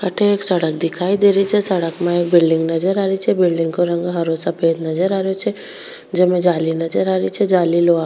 अठे एक सड़क दिखाई दे रही छे सड़क में एक बिलडिंग नजर आ रही छे बिलडिंग का रंग हरा सफ़ेद नजर आ रो छे जमें जाली नजर आ रही छे जाली लोहा की --